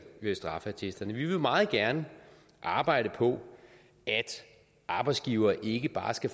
straffeattesterne vi vil meget gerne arbejde på at arbejdsgivere ikke bare skal